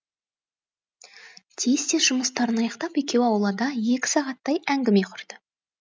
тез тез жұмыстарын аяқтап екеуі аулада екі сағаттай әңгіме құрды